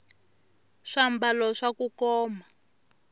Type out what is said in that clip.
swambalo swa kukoma